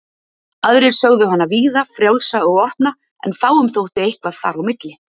Aðrir sögðu hana víða, frjálsa og opna en fáum þótti eitthvað þar á milli.